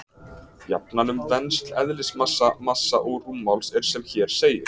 Jafnan um vensl eðlismassa, massa og rúmmáls er sem hér segir: